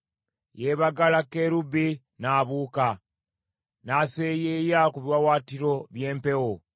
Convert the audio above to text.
Yeebagala kerubi n’abuuka, n’aseeyeeyeza ku biwaawaatiro by’empewo.